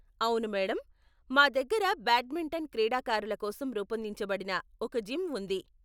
అవును మేడమ్, మా దగ్గర బ్యాడ్మింటన్ క్రీడాకారుల కోసం రూపొందించబడిన ఒక జిమ్ ఉంది .